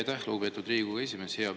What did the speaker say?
Aitäh, lugupeetud Riigikogu esimees!